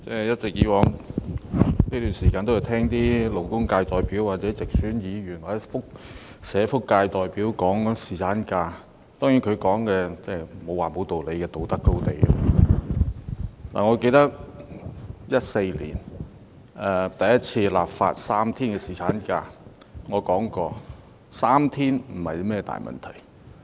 主席，我在這段時間一直在聆聽勞工界代表、直選議員、社福界代表談侍產假，當然他們的發言不能說沒道理，因為他們都是站在道德高地。